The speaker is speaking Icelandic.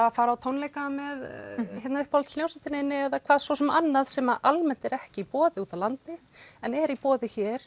að fara á tónleika með uppáhaldshljómsveitinni þinni eða hvað svo sem annað sem almennt er ekki í boði úti á landi en er í boði hér